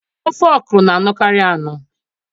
Ofe okro na-anọkarị anọ